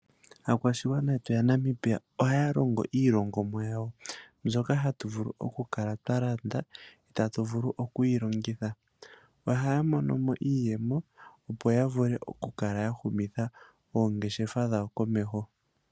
Aakwashigwana yetu yaNamibia ohaya longo iilongomwa yawo mbyoka hatu vulu okukala twalanda ee tatu vulu okuyi longitha ohaya monomo iiyemo opo yavule okukala yahumitha oongeshefa dhawo komeho.